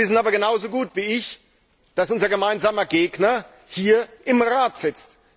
Sie wissen aber genauso gut wie ich, dass unser gemeinsamer Gegner im Rat sitzt.